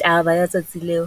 Taba ya tsatsi leo,